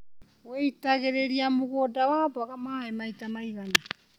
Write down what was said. Wĩitagĩrĩria mũgũnda wa mboga maĩ maita maigana.